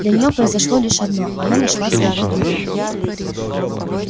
для неё произошло лишь одно она нашла своего друга